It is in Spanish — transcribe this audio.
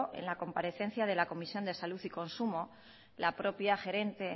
en la comparecencia de la comisión de salud y consumo la propia gerente